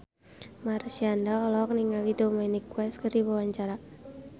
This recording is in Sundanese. Marshanda olohok ningali Dominic West keur diwawancara